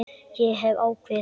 Ég hef ákveðið það.